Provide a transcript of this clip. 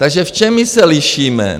Takže v čem my se lišíme?